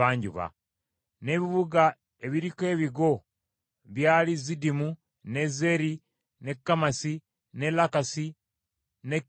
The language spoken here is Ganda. N’ebibuga ebiriko ebigo byali Ziddimu, ne Zeri, ne Kammasi, ne Lakkasi, ne Kinneresi,